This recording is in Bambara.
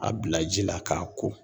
a bila ji la k'a ko.